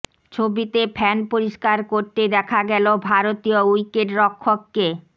ছবিতে ফ্যান পরিষ্কার করতে দেখা গেল ভারতীয় উইকেট রক্ষককে